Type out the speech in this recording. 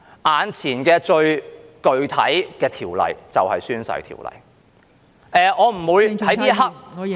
眼前最具體的條例就是《宣誓及聲明條例》。